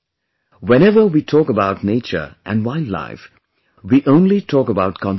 Whenever we talk about nature and wildlife, we only talk about conservation